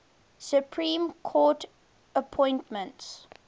supreme court appointments